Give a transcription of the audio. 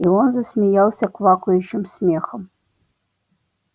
и он засмеялся квакающим смехом